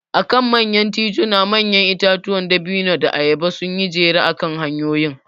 A kan manyan tituna manyan itatuwan dabino da ayaba sun yi jere akan hanyoyin.